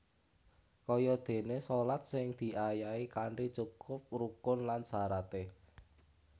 Kayadéné shalat sing diayahi kanthi cukup rukun lan syaraté